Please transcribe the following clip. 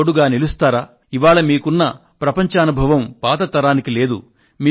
నాకు తోడుగా నిలుస్తారా ఇవాళ మీకున్న ప్రపంచానుభవం పాత తరానికి లేదు